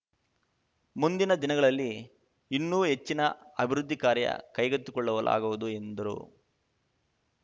ಮುಂದಿನ ದಿನಗಳಲ್ಲಿ ಇನ್ನೂ ಹೆಚ್ಚಿನ ಅಭಿವೃದ್ಧಿ ಕಾರ್ಯ ಕೈಗೆತ್ತಿಕೊಳ್ಳವುಲಾಗುವುದು ಎಂದರು